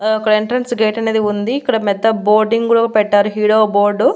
ఆ అక్కడ entrance gate అనేది ఉంది ఇక్కడ మెత్త బోర్డింగ్ గుడా పెట్టారు హీడో బోర్డు .